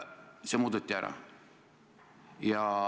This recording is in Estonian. See muudeti ära.